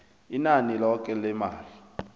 inani loke lemali